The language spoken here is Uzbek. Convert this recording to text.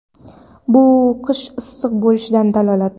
bu qish issiq bo‘lishidan dalolat.